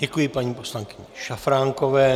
Děkuji paní poslankyni Šafránkové.